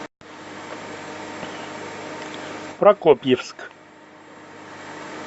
прокопьевск